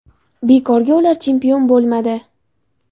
Bekorga ular chempion bo‘lmadi.